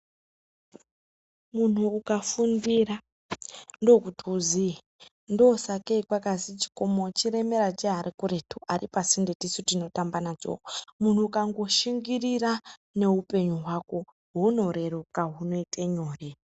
Munhu ukafundira ndokuti uziye ndosakei kwakazwi chikomo chiremera cheari kuretu aripasinde tisu tinotamba nacho. Munhu ukangoshingirira neupenyu hwako hunoreruka hunoite nyore.